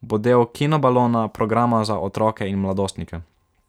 bo del Kinobalona, programa za otroke in mladostnike.